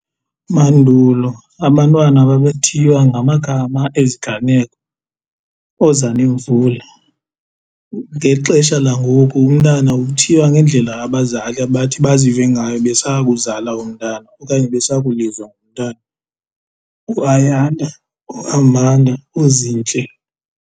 Mandulo abantwana babethiywa ngamagama eziganeko, ooZanemvula. Ngeli xesha langoku umntana uthiywa ngendlela abazali abathi bazive ngayo besakuzala umntana okanye besakulizwa ngomntana uAyanda, uAmanda uZintle.